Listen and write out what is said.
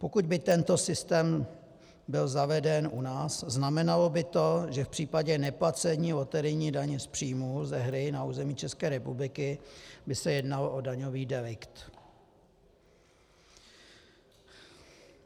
Pokud by tento systém byl zaveden u nás, znamenalo by to, že v případě neplacení loterijní daně z příjmů ze hry na území České republiky by se jednalo o daňový delikt.